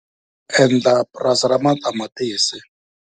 Ndzi ta endla purasi ra matamatisi.